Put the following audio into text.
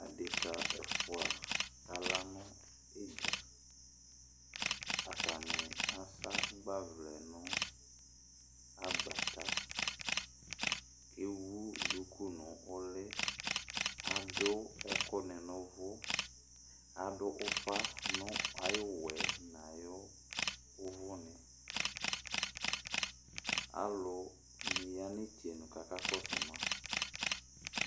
Adekǝ ɛfʋa akala nʋ idza Atani asa agbavlɛ nʋ agbata Ewu duku nʋ ʋlɩ Adu ɛkʋ nɩ nʋ uvu Adu ufa nɩ nʋ ayʋ ʋwɔ yɛ nʋ ayʋ uvu nɩ Alu nɩ aya nʋ itsenu kʋ aka kɔsʋ ma